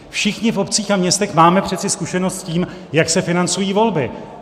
Všichni v obcích a městech máme přece zkušenost s tím, jak se financují volby.